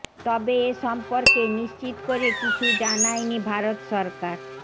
তবে এ সম্পর্কে নিশ্চিত করে কিছু জানায়নি ভারত সরকার